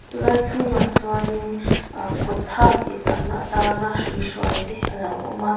chulai chhungah chuanin aah kut tha tih chakna atana hrui hrual te a lo awm a.